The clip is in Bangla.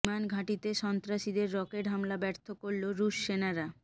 বিমান ঘাঁটিতে সন্ত্রাসীদের রকেট হামলা ব্যর্থ করল রুশ সেনারা